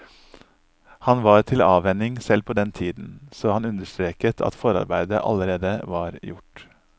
Han var til avvenning selv på den tiden, så han understreket at forarbeidet allerede var gjort.